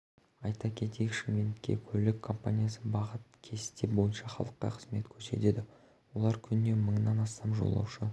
айта кетейік шымкентте көлік компаниясы бағыт кесте бойынша халыққа қызмет көрсетеді олар күніне мыңнан астам жолаушы